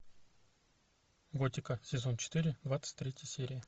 готика сезон четыре двадцать третья серия